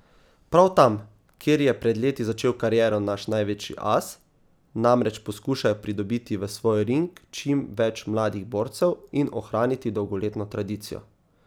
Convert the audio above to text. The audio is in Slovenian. Prav tam, kjer je pred leti začel kariero naš največji as, namreč poskušajo pridobiti v svoj ring čim več mladih borcev in ohraniti dolgoletno tradicijo.